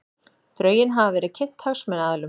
Drögin hafa verið kynnt hagsmunaaðilum